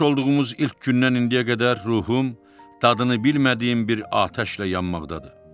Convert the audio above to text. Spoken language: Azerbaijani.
Tanış olduğumuz ilk gündən indiyə qədər ruhum dadını bilmədiyim bir atəşlə yanmaqdadır.